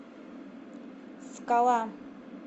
скала